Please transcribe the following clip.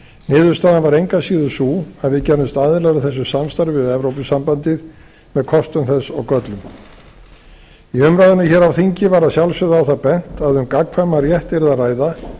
niðurstaðan varð engu að síður sú að við gerðumst aðilar að þessu samstarfi við evrópusambandið með kostum þess og göllum í umræðunni hér á þingi var að sjálfsögðu á það bent að um gagnkvæman rétt yrði að ræða